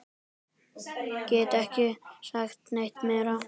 Gat ekki sagt neitt meira.